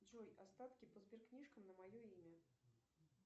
джой остатки по сберкнижкам на мое имя